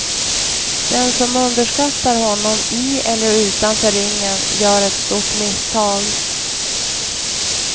Den som underskattar honom i eller utanför ringen gör ett stort misstag.